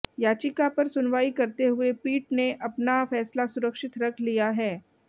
याचिका पर सुनवाई करते हुए पीठ ने अपना फैसला सुरक्षित रख लिया है